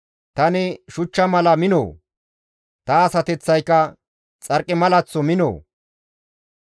Tani shuchcha mala minoo? Ta asateththayka xarqimalaththo minoo?